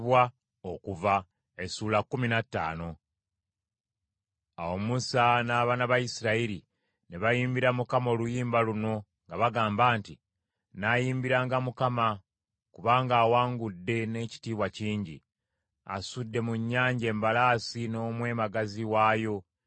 Awo Musa n’abaana ba Isirayiri ne bayimbira Mukama oluyimba luno nga bagamba nti, “Nnaayimbiranga Mukama , kubanga awangudde n’ekitiibwa kingi. Asudde mu nnyanja embalaasi n’omwebagazi waayo.